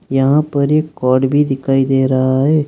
यहां पर एक भी दिखाई दे रहा है।